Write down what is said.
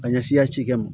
Ka ɲɛsin yan ci kɛ ma